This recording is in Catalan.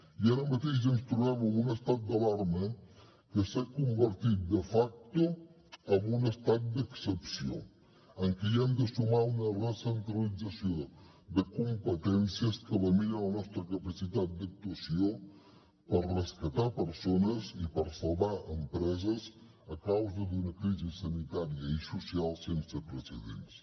i ara mateix ens trobem amb un estat d’alarma que s’ha convertit de facto en un estat d’excepció en què hi hem de sumar una recentralització de competències que lamina la nostra capacitat d’actuació per rescatar persones i per salvar empreses a causa d’una crisi sanitària i social sense precedents